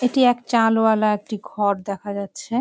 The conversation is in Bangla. এটি এক চাল ওয়ালা একটি ঘর দেখা যাচ্ছে।